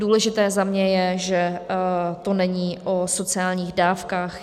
Důležité za mě je, že to není o sociálních dávkách.